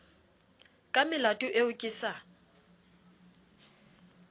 ka melato eo ke sa